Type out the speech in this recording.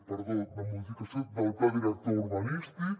perdó la modificació del pla director urbanístic